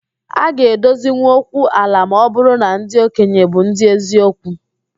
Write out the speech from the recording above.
A ga edozinwụ okwu ala ma ọ bụrụ na ndị okenye bụ ndị eziokwu